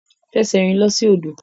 Fẹsẹ̀rìn lọ sí odò.